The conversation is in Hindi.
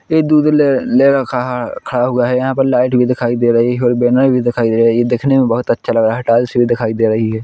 ये दूध ले रखा खड़ा हुआ है यहाँ पर लाईट भी दिखाई दे रही है और बैनर भी दिखाई दे रहा है ये दिखने मे बहोत अच्छा लग रहा है टाइल्स भी दिखाई दे रही है।